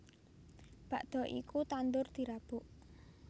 Bakda iku tandur dirabuk